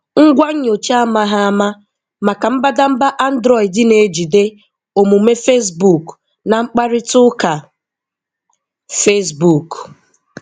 Ngwá nyocha amaghị ama maka mbadamba Android na-ejide omume Facebook na mkparịta ụka Facebook.